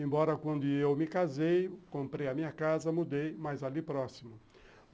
Embora quando eu me casei, comprei a minha casa, mudei, mas ali próximo.